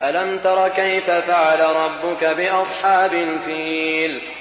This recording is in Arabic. أَلَمْ تَرَ كَيْفَ فَعَلَ رَبُّكَ بِأَصْحَابِ الْفِيلِ